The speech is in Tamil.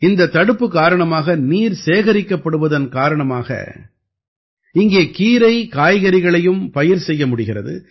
இந்தத் தடுப்பு காரணமாக நீர் சேகரிக்கப்படுவதன் காரணமாக இங்கே கீரைகாய்கறிகளையும் பயிர் செய்ய முடிகிறது